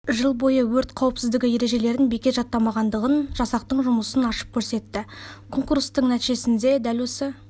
жыл бойы өрт қауіпсіздігі ережелерін бекер жаттамағандығын жасақтың жұмысын ашып көрсетті конкурстардың нәтижесінде дәл осы